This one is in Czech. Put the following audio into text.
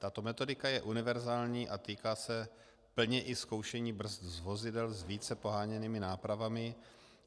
Tato metodika je univerzální a týká se plně i zkoušení brzd z vozidel s více poháněnými nápravami.